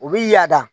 U bi yaada